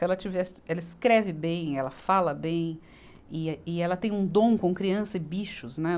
Se ela tivesse, ela escreve bem, ela fala bem, e eh, e ela tem um dom com criança e bichos, né.